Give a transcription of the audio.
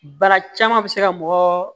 Baara caman bɛ se ka mɔgɔ